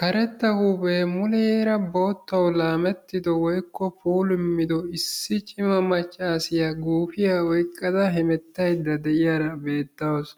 Karetta huuphpe muleraa boottawu lamettido woykko puulumido issi cimma maccasiya guufiya oyqqada hemettayda de'iyara beetawusu.